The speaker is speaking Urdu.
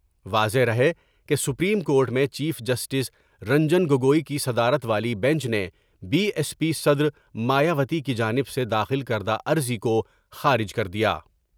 واضح رہے کہ سپریم کورٹ میں چیف جسٹس رنجن گگوئی کی صدرات والی بینچ نے بی ایس پی صدر مایاوتی کی جانب سے داخل کردہ عرضی کو خارج کر دیا ۔